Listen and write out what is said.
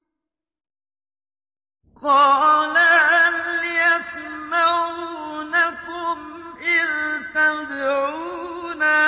قَالَ هَلْ يَسْمَعُونَكُمْ إِذْ تَدْعُونَ